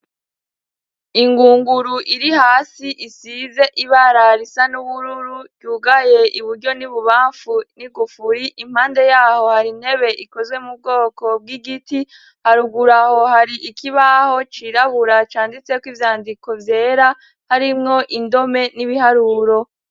Ingunguru iri hasi isize ibara risa n'ubururu ryugaye iburyo n'ibubamfu n'igufuri, impande yaho hari intebe ikozwe m'ubwoko bw'igiti haruguru yaho hari ikibaho cirabura canditseko ivyandiko vyera harimwo indome n'ibiharuro.